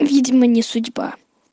видимо не судьба